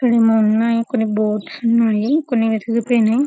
ఇక్కడ ఏమో కొన్ని బూట్స్ ఉన్నాయి కొన్ని విరిగిపోయినాయి.